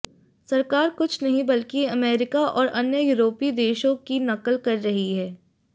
सरकार कुछ नहीं बल्कि अमेरिका और अन्य यूरोपीय देशों की नकल कर रही है